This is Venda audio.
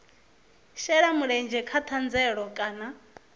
shela mulenzhe kha thandela kana